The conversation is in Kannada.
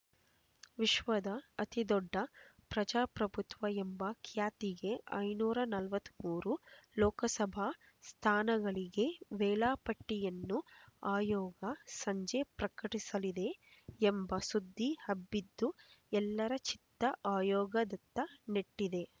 ವಿಶ್ವದ ಅತಿ ದೊಡ್ಡ ಪ್ರಜಾಪ್ರಭುತ್ವ ಎಂಬ ಖ್ಯಾತಿಗೆ ಐನೂರ ನಲವತ್ತ್ ಮೂರು ಲೋಕಸಭಾ ಸ್ಥಾನಗಳಿಗೆ ವೇಳಾಪಟ್ಟಿಯನ್ನು ಆಯೋಗ ಸಂಜೆ ಪ್ರಕಟಿಸಲಿದೆ ಎಂಬ ಸುದ್ದಿ ಹಬ್ಬಿದ್ದು ಎಲ್ಲರ ಚಿತ್ತ ಆಯೋಗದತ್ತ ನೆಟ್ಟಿದೆ